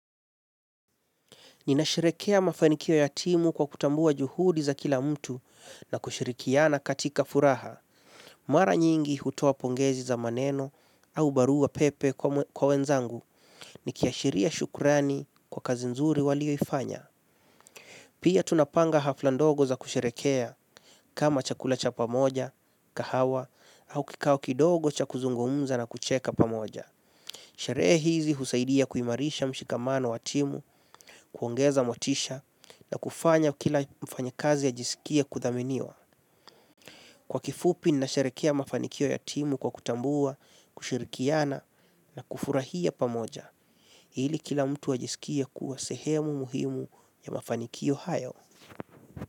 Nina sherekea mafanikio ya timu kwa kutambua juhudi za kila mtu na kushirikiana katika furaha. Mara nyingi hutoa pongezi za maneno au barua pepe kwa wenzangu nikiashiria shukurani kwa kazi nzuri walio ifanya. Pia tunapanga hafla ndogo za kusherekea kama chakula cha pamoja, kahawa au kikao kidogo cha kuzungumza na kucheka pamoja. Sheree hizi husaidia kuimarisha mshikamano wa timu, kuongeza motisha na kufanya kila mfanyakazi ajisikie kuthaminiwa. Kwa kifupi nina sherekea mafanikio ya timu kwa kutambua, kushirikiana na kufurahia pamoja. Ili kila mtu ajisikie kuwa sehemu muhimu ya mafanikio hayo.